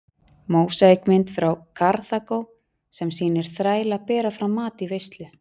Mósaíkmynd frá Karþagó sem sýnir þræla bera fram mat í veislu.